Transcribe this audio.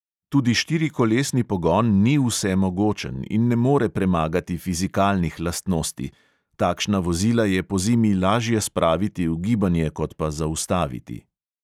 Tudi štirikolesni pogon ni vsemogočen in ne more premagati fizikalnih lastnosti: takšna vozila je pozimi lažje spraviti v gibanje kot pa zaustaviti.